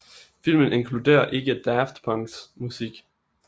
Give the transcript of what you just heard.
Filmen inkluderer ikke Daft Punks musik